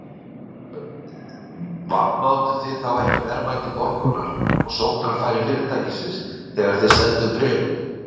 Þorbjörn: Vanmátuð þið þá ekki verðmæti Borgunar og sóknarfæri fyrirtækisins þegar þið selduð bréfin?